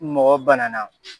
mɔgɔ banana